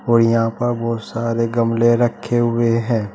और यहां पर बहुत सारे गमले रखे हुए है।